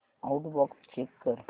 outbox check कर